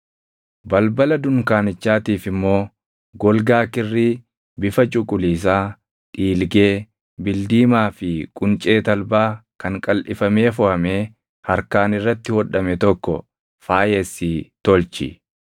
“Balbala dunkaanichaatiif immoo golgaa kirrii bifa cuquliisaa, dhiilgee, bildiimaa fi quncee talbaa kan qalʼifamee foʼamee harkaan irratti hodhame tokko faayessii tolchi.